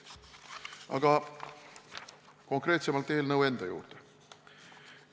Aga konkreetsemalt eelnõu enda juurde.